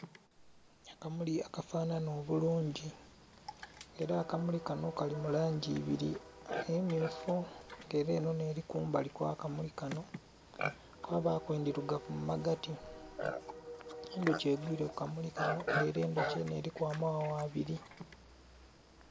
Akamuli akafanana obulungi era akamuli kanho Kali mu langi ibiri emyufu nga era enho nheli kumbali kwa kamuli kano kwabaku endhirugavu mu magati. Endhuki egwire ku kamuli kanho nga era endhuki eliku amaghagha abiri